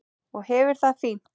Og hefur það fínt.